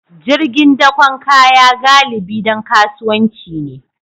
Jirgin dakon kaya galibi don kasuwanci ne